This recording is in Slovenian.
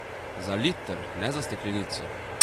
Za liter, ne za steklenico.